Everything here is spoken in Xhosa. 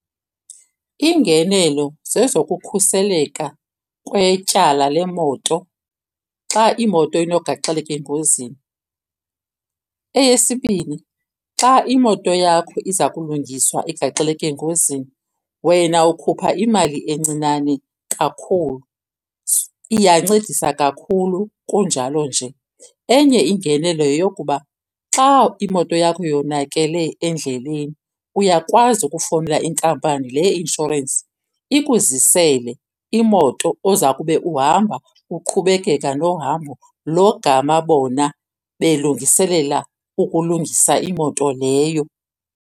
Iingenelo zezokukhuseleka kwetyala lemoto xa imoto inogaxeleka engozini. Eyesibini, xa imoto yakho iza kulungiswa igaxeleke engozini wena ukhupha imali encinane kakhulu, iyancedisa kakhulu kunjalo nje. Enye ingenelo yeyokuba xa imoto yakho yonakele endleleni uyakwazi ukufowunela inkampani le ye-inshorensi ikuzisele imoto oza kube uhamba uqhubekeka nohambo logama bona belungiselela ukulungisa imoto leyo.